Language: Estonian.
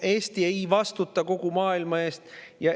Eesti ei vastuta kogu maailma eest.